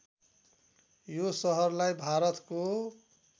यो सहरलाई भारतको